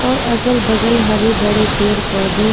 और अगल बगल हरे भरे पेड़ पौधे